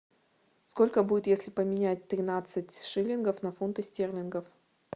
сколько будет если поменять тринадцать шиллингов на фунты стерлингов